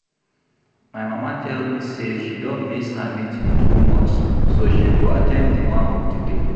My mama tell me say she don miss her meeting too much so she go at ten d the one of today